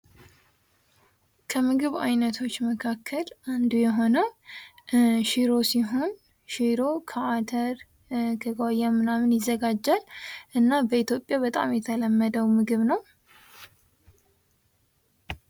ከምግብ አይነቶች መካከል አንዱ የሆነው ሽሮ ሲሆን ከአተር፣ ከጓያ ምናምን ይዘጋጃል። እና በኢትዮጵያ በጣም የተለመደው ምግብ ነው ።